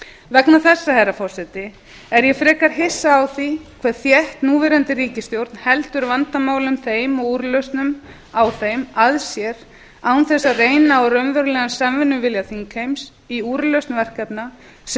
vegna þessa herra forseti er ég frekar hissa á því hve þétt núverandi ríkisstjórn heldur vandamálum þeim og úrlausnum á þeim að sér án þess að reyna á raunverulegan samvinnuvilja þingheims í úrlausn verkefna sem munu